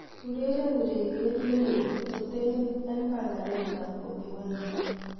ureren ureryet nelel kototen en panganet ab boby wine